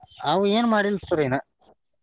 ಅವ ಏನ ಮಾಡಿಲ್ಲ sir ಇನ್ನ.